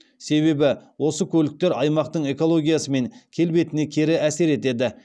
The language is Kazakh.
себебі осы көліктер аймақтың экологиясы мен келбетіне кері әсер етеді